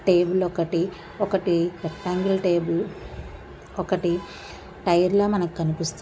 Table ఒకటి. ఒకటి rectangle table ఒకటి టైర్ ల మనకు కనిపిస్తు--